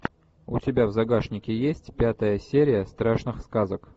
у тебя в загашнике есть пятая серия страшных сказок